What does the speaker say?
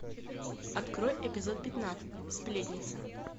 открой эпизод пятнадцать сплетница